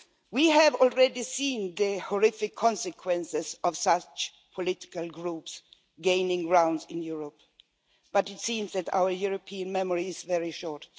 We have already seen the horrific consequences of such political groups gaining ground in Europe, but it seems that our European memory is very short.